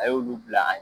A y'olu bila